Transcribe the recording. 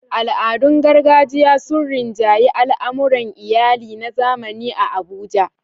Al'adun gargajiya sun rinjayi al'amuran iyali na zamani a Abuja.